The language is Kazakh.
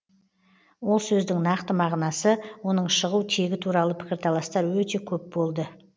ол сөздің нақты мағынасы оның шығу тегі туралы пікірталастар өте көп болды